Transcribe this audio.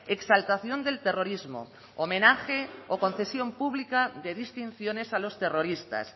exaltación del terrorismo homenaje o concesión pública de distinciones a los terroristas